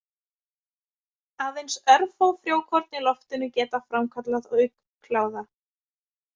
Aðeins örfá frjókorn í loftinu geta framkallað augnkláða.